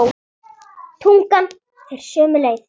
Tungan fer sömu leið.